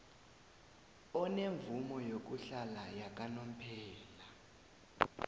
onemvumo yokuhlala yakanomphela